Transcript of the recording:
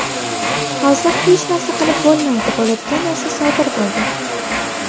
Hozir hech narsa qilib bo‘lmaydi, bo‘ladigan narsa sodir bo‘ldi.